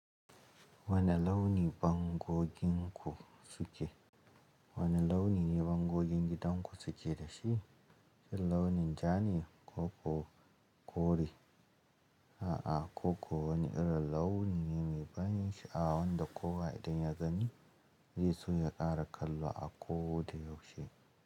Wane launi bangogin ku suke? Wane launi ne bangogin gidan ku suke da shi? Launin ja ne ko ko kore? A'a, koko wani irin launi ne mai ban sha'awa wanda kowa idan ya gani zai so ya ƙara kallo a koda yaushe.